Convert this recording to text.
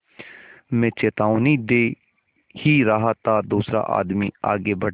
मैं चेतावनी दे ही रहा था कि दूसरा आदमी आगे बढ़ा